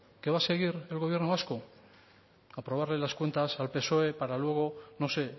que va a seguir el gobierno vasco aprobarle las cuentas al psoe para luego no sé